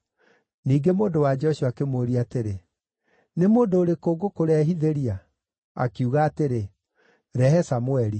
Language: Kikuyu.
Ningĩ mũndũ-wa-nja ũcio akĩmũũria atĩrĩ, “Nĩ mũndũ ũrĩkũ ngũkũrehithĩria?” Akiuga atĩrĩ, “Rehe Samũeli.”